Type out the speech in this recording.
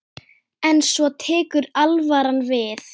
En svo tekur alvaran við.